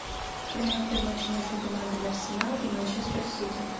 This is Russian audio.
прямой эфир матча между командами арсенал и манчестер сити